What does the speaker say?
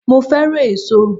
Mo fẹ́ràn èso